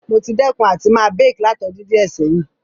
Mo ti dẹ́kun àti ma bake látodún díẹ̀ sẹ̀hin